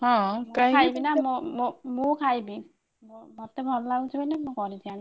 ହଁ କାହିଁକି ନା ମୋ ମୁଁ ଖାଇବି ମତେ ଭଲ ଲାଗୁଛି ମାନେ ମୁଁ କରିକି ଆଣି।